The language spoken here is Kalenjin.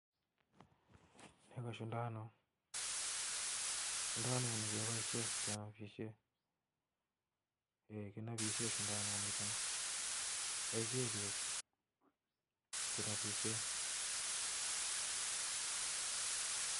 Nii KO shundanuut kipaishee kenapishee paishee piik konapisheee